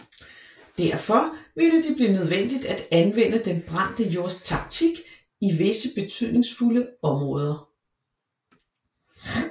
Derfor ville det blive nødvendigt at anvende den brændte jords taktik i visse betydningsfulde områder